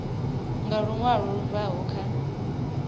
nga luṅwalo lu bvaho kha